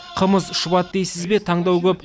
қымыз шұбат дейсізбе таңдау көп